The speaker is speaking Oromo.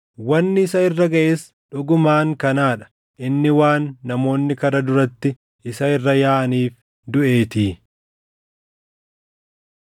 Wanni isa irra gaʼes dhugumaan kanaa dha; inni waan namoonni karra duratti isa irra yaaʼaniif duʼeetii.